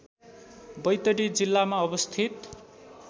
बैतडी जिल्लामा अवस्थित